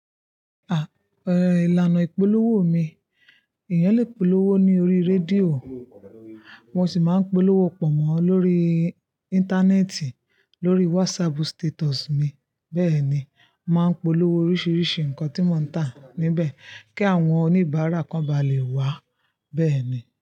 Ah, ẹ́, ìlànà ìpolówó mi, èèyàn lè polówó ní orí rédíò, mo sì máa ń polówó pọ̀nmọ́ lórí íńtánẹ́ẹ̀tì, lórí wásáàpù sítétùsù mi, bẹ́ẹ̀ ni, màá polówó oríṣiríṣi nǹkan tí mò ń tà níbẹ̀ kí àwọn oníbàárà kan bá lè wá, bẹ́ẹ̀ ni.